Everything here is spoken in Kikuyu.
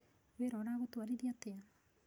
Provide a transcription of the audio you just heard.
Wĩra ũragũtwarithia atĩa?